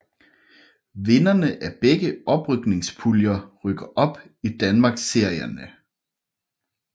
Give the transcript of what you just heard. Vinderne af begge oprykningspuljer rykker op i Danmarksserierne